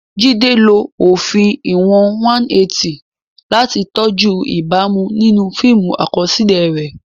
Jide lo òfin ìwọ̀n 180 láti tọ́jú ìbámu nínú fíìmù àkọsílẹ̀ rẹ̀.